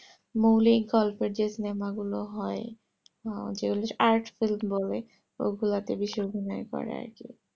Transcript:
মৌলিক গল্পের যেই সিনেমা গুলো হয় আহ যেগুলো art film বলে ওগুলো বেশি মনে পরে আরকি